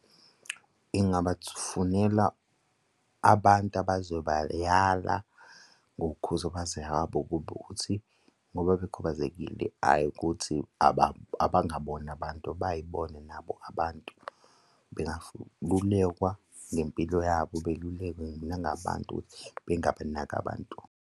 Engabafunela abantu abazobayala ngokukhubazeka kwabo ukuthi ngoba bekhubazekile, hhayi ukuthi abangabona abantu bay'bone nabo abantu bengalulekwa ngempilo yabo, belulekwa nangabantu ukuthi bengabanaki abantu.